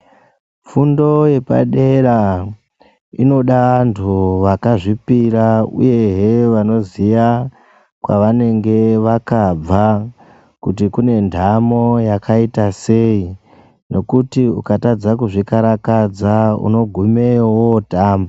Fundo yepadera inoda antu vakazvipira uyehe zvanoziya kwavanenge vakabva kuti kune ndamo yakaita sei. Nekuti ukatadza kuzvikarakadza unogumeyo wootamba.